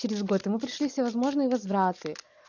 через год и мы прошли все возможные возвраты